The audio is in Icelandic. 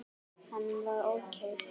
Hann var ókei.